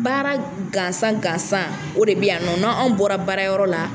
Baara gansan gansan o de bɛ yan nɔ na anw bɔra baara yɔrɔ la.